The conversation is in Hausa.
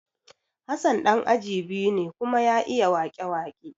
Hassan ɗan aji biyu ne kuma ya iya wake-wake